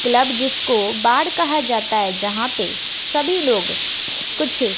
club जिसको बाढ़ कहा जाता है जहां पे सभी लोग कुछ--